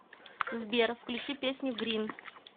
сбер включи песню грин